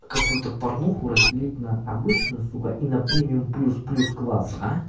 какую-то порнуху разделить на обычную сука и на премиум плюс плюс класс а